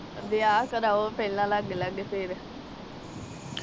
ਵਿਹਾਅ ਕਰਾਊ ਪਹਿਲਾ ਲੱਗ-ਲੱਗ ਫਿਰ